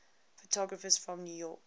photographers from new york